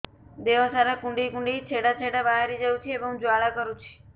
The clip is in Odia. ଦେହ ସାରା କୁଣ୍ଡେଇ କୁଣ୍ଡେଇ ଛେଡ଼ା ଛେଡ଼ା ବାହାରି ଯାଉଛି ଏବଂ ଜ୍ୱାଳା କରୁଛି